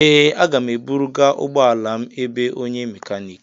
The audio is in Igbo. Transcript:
Ee, a ga m eburu ga ụgbọ ala m ebe onye mekaniki.